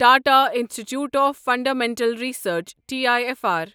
Tata institute of fundamental research T I F R